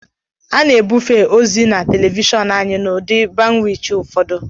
A na-ebufe ozi na telivishọn anyị n'ụdị bandwit ụfọdụ